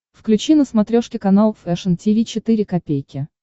включи на смотрешке канал фэшн ти ви четыре ка